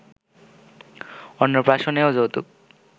অন্নপ্রাশনেও যৌতুক